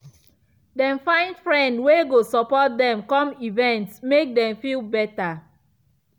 dem find friend wey go support dem come events make dem feel better.